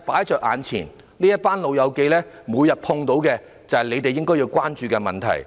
這群"老友記"每天碰到的困難，便是政府應關注的問題。